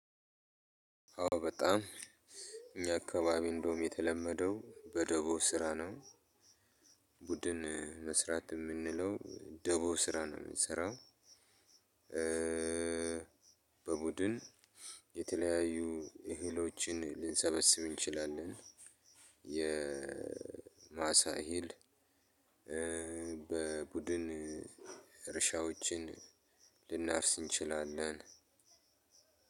አዎ በጣም እኛ አካባቢ እንደውም የተለመደው በደቦ ስራ ነው። ቡድን መስራት የምንለው ደቦ ስራ ነው የምንሰራው። በቡድን የተለያዩ እህሎችን ልንሰበስብ እንችላለን። የማሳ እሂል በቡድን እርሻዎችን ልናፍስ እንችላለን።